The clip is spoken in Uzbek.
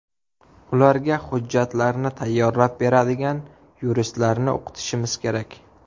Ularga hujjatlarni tayyorlab beradigan yuristlarni o‘qitishimiz kerak.